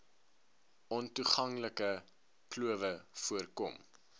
ontoeganklike klowe voorkom